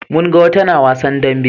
mun ga wata na wasan dambe